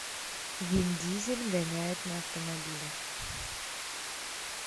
вин дизель гоняет на автомобилях